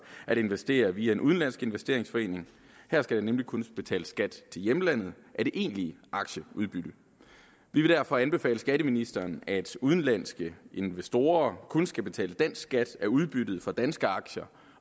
at investere via en udenlandsk investeringsforening her skal der nemlig kun betales skat til hjemlandet af det egentlige aktieudbytte vi vil derfor anbefale skatteministeren at udenlandske investorer kun skal betale dansk skat af udbyttet fra danske aktier